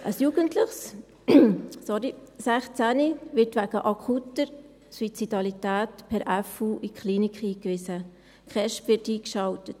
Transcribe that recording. Ein Jugendliches, 16-jährig, wird wegen akuter Suizidalität per fürsorgerische Unterbringung (FU) in die Klinik eingewiesen, die KESB wird eingeschaltet.